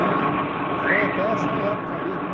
E foi até essa época aí, né?